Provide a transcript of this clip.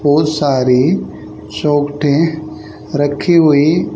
बहुत सारी चौखटें रखी हुई--